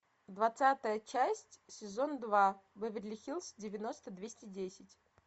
двадцатая часть сезон два беверли хиллз девяносто двести десять